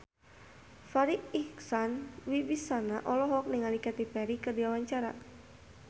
Farri Icksan Wibisana olohok ningali Katy Perry keur diwawancara